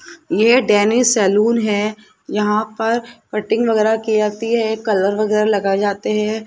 ये Danny saloon है यहां पर कटिंग वगैरा की आती है कलर वगैरा लगाए जाते है।